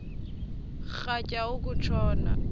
rhatya uku tshona